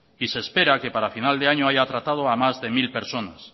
y se espera que para final de año haya tratado a más de mil personas